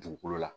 Dugukolo la